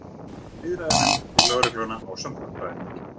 Samtakanna í viðræðunefnd við lögregluna ásamt lögfræðingi.